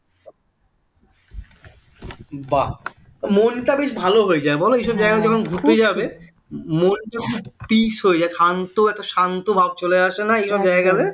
বাহ মনটা বেশ ভালো হয়ে যায় বল ওই সব জায়গাগুলো ঘুরতে যাবে ক্ষান্ত একটা শান্তভাব চলে আসে না এরকম জায়গায় গেলে